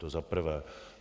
To za prvé.